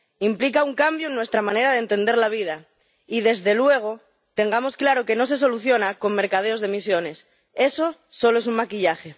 implica un cambio en nuestra manera de entender la vida y, desde luego, tengamos claro que no se soluciona con mercadeos de emisiones, eso solo es un maquillaje.